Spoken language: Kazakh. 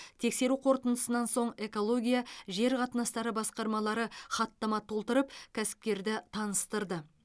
тексеру қорытындысынан соң экология жер қатынастары басқармалары хаттама толтырып кәсіпкерді таныстырды